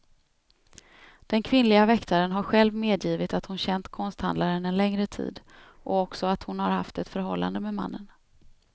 Den kvinnliga väktaren har själv medgivit att hon känt konsthandlaren en längre tid och också att hon har haft ett förhållande med mannen.